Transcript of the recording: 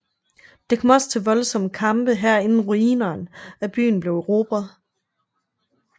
Det kom også til voldsomme kampe her inden ruinerne af byen blev erobret